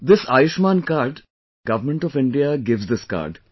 This Ayushman card, Government of India gives this card